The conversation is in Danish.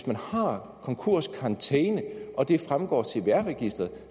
man har konkurskarantæne og det fremgår af cvr registeret